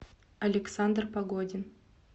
александр погодин